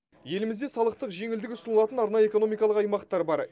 елімізде салықтық жеңілдік ұсынылатын арнайы экономикалық аймақтар бар